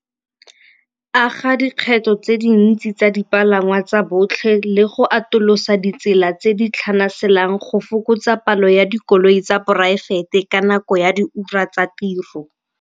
Aga dikgetho tse dintsi tsa dipalangwa tsa botlhe le go atolosa ditsela tse di tlhanaselang go fokotsa palo ya dikoloi tsa poraefete ka nako ya di ura tsa tiro.